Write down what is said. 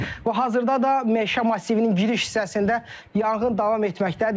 Və hazırda da meşə massivinin giriş hissəsində yanğın davam etməkdədir.